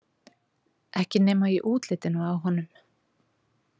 Ekki nema í útlitinu á honum.